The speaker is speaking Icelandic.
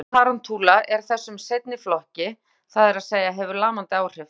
Eitur tarantúla er þessum seinni flokki, það er að segja hefur lamandi áhrif.